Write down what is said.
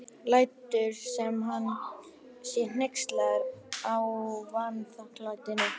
Tuddi vildi bara fá vínarbrauð og snúða sagði Lilla skellihlæjandi.